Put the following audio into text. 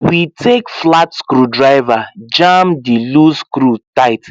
we take flat screwdriver jam the loose screw tight